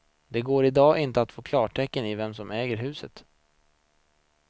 Det går i dag inte att få klarhet i vem som äger huset.